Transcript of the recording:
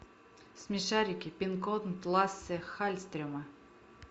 смешарики пин код лассе халльстрема